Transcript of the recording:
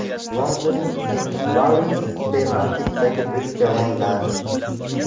Londonning Sainsbury’s supermarketidagi bo‘sh javonlar.